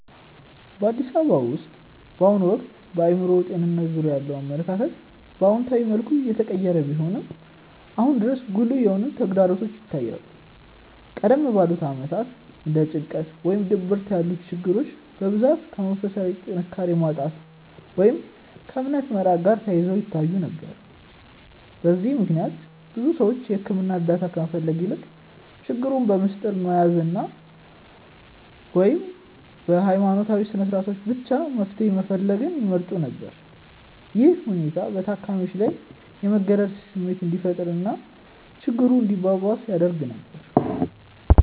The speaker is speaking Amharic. በአዲስ አበባ ውስጥ በአሁኑ ወቅት በአእምሮ ጤንነት ዙሪያ ያለው አመለካከት በአዎንታዊ መልኩ እየተቀየረ ቢሆንም፣ አሁንም ድረስ ጉልህ የሆኑ ተግዳሮቶች ይታያሉ። ቀደም ባሉት ዓመታት እንደ ጭንቀት ወይም ድብርት ያሉ ችግሮች በብዛት ከመንፈሳዊ ጥንካሬ ማጣት ወይም ከእምነት መራቅ ጋር ተያይዘው ይታዩ ነበር። በዚህም ምክንያት ብዙ ሰዎች የሕክምና እርዳታ ከመፈለግ ይልቅ ችግሩን በምስጢር መያዝን ወይም በሃይማኖታዊ ስነስርዓቶች ብቻ መፍትሄ መፈለግን ይመርጡ ነበር። ይህ ሁኔታ በታካሚዎች ላይ የመገለል ስሜት እንዲፈጠር እና ችግሩ እንዲባባስ ያደርግ ነበር።